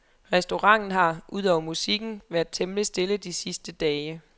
Restauranten har, udover musikken, været temmelig stille de sidste dage.